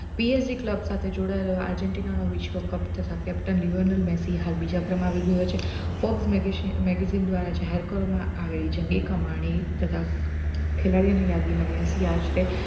PLG club સાથે જોડાયેલા Argentina વિશ્વ cup તથા captain લીઓનન હબી હાલ બીજા ક્રમે આવી ગયો છે top મેગેઝીન દ્વારા જાહેર કરવામાં આવી જંગી કમાણી તથા ખેલાડીઓની યાદીમાં મેસી આશરે